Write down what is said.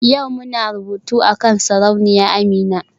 Yau muna rubutu akan Sarauniya Amina?